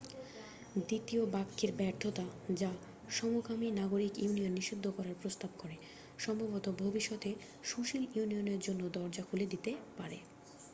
দ্বিতীয় বাক্যের ব্যর্থতা যা সমকামী নাগরিক ইউনিয়ন নিষিদ্ধ করার প্রস্তাব করে সম্ভবত ভবিষ্যতে সুশীল ইউনিয়নের জন্য দরজা খুলে দিতে পারে